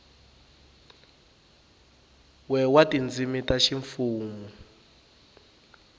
we wa tindzimi ta ximfumu